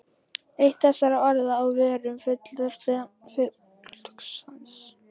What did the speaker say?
Eitt þessara orða á vörum fullorðna fólksins var stekkur.